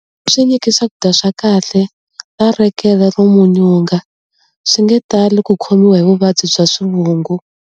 Swi nyiki swakudya swa kahle na lekere ro munyunga-swi nge tali ku khomiwa hi vuvabyi bya swivungu.